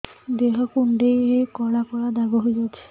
ଦେହ କୁଣ୍ଡେଇ ହେଇ କଳା କଳା ଦାଗ ହେଇଯାଉଛି